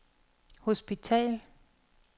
hospital